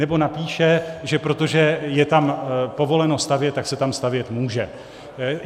Nebo napíše, že protože je tam povoleno stavět, tak se tam stavět může.